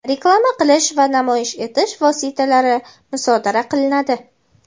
reklama qilish va namoyish etish vositalari musodara qilinadi.